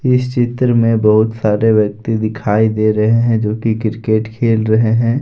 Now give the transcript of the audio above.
इस चित्र में बहुत सारे व्यक्ति दिखाई दे रहे हैं जो की क्रिकेट खेल रहे हैं।